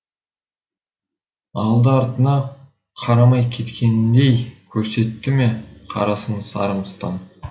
алды артына қарамай кететіндей көрсеттіме қарасын сары мыстан